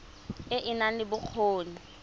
e e nang le bokgoni